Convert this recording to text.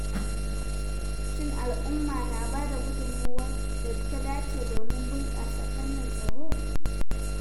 Shin al'umma na ba da gudunmawar da ta dace domin bunƙasa fannin tsaro?